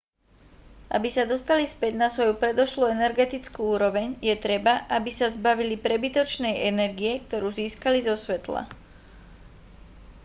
aby sa dostali späť na svoju predošlú energetickú úroveň je treba aby sa zbavili prebytočnej energie ktorú získali zo svetla